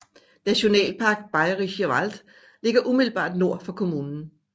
Nationalpark Bayerischer Wald ligger umiddelbart nord for kommunen